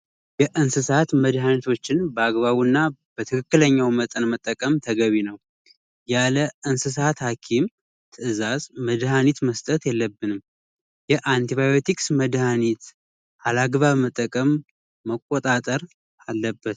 የቤት ውስጥ የኤሌክትሪክ ተከራና ጥገና አጫጭር ቤቶችና ለአነስተኛ ተቋማት የሚያገለግል ቀላል የኤሌክትሪክ መሳሪያዎችን የመጠገንና የመትከል ክህሎት ሲሆን በአጭር ጊዜ ለመፍጠር የሚያስችል ተግባራዊ ስልጠና ነው